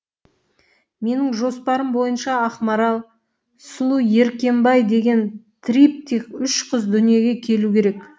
менің жоспарым бойынша ақмарал сұлу еркебай деген триптих үш қыз дүниеге келу керек